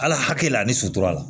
Ala hakili la ani sutura la